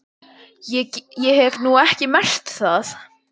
Ég hef nú ekki getað merkt það.